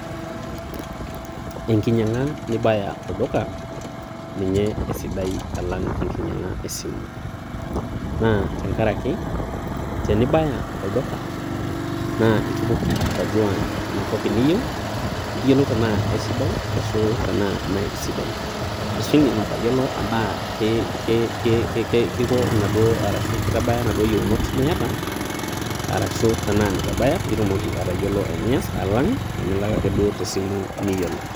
Enkinyang'a nibaya olduka ninye esidai alang enkinyang'a e simu naa tenkaraiki tenibaya olduka naa itumoki atodua ina toki niyolou tanaa sidai anaa me sidai. Ashu indim atayoulou anaa keiko arashu keitabaya naduo yieunot niata arashu tanaa meitabaya pii itumoki atayoulou enias alang' teneilak ake duo te simu miyiolo.